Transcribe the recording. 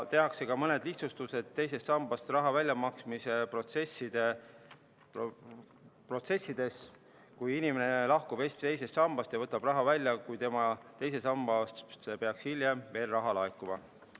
Tehakse ka mõned lihtsustused teisest sambast raha väljamaksmise protsessides, kui inimene lahkub teisest sambast ja võtab raha välja, kuid tema teise sambasse peaks hiljem veel raha laekuma.